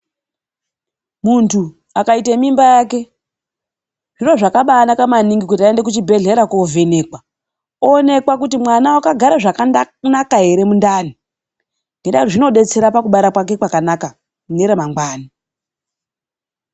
Muntu akaite mimba yake, zviro zvakaabanaka maningi kuti aende kuchibhedhlera kovhenekwa. Oonekwa kuti mwana wakagare zvakanaka here mundani. Nendaa zvinodetsera pakubara kwake kwakanaka mune ramangwana.